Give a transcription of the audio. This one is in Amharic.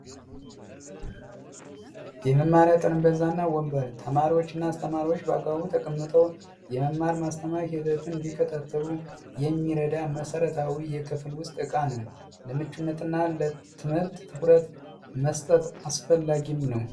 የመማሪያ ጠረጴዛ እና ወንበር ተማሪዎች እና አስተማሪዎች በአግባቡ ተቀምጠው የመማር ማስተማር ሂደቱን እንዲከታተሉ የሚረዳ መሰረታዊ የክፍል ውስጥ እቃ ነው። ለምቹነት እና ለትምህርት ትኩረት መስጠት አፈላላጊም ነው።